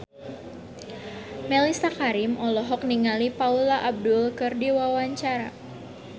Mellisa Karim olohok ningali Paula Abdul keur diwawancara